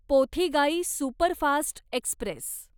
Pothigai superfast Express